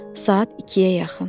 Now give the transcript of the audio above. Saat ikiyə yaxın.